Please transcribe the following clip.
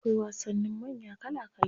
Akwai wasannin manya kala kala.